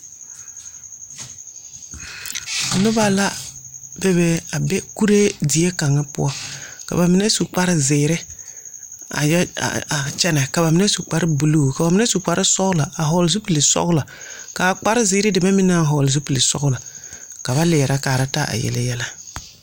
Nuba la bebe a be kuree die kanga pou ka ba menne su kpare ziiri a kyene ka ba menne su kpare blue ka menne su kpare sɔglo a vɔgli zupili sɔglo kaa kpari deme meng a vɔgle zupili sɔglo ka ba leɛre kaara taa a yele yelɛ.